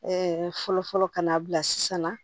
fɔlɔ fɔlɔ ka n'a bila sisan na